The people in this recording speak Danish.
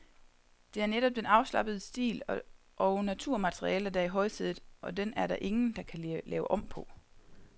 Det er netop den afslappende stil og naturmaterialer, der er i højsædet, og den er der ingen, der kan lave om på.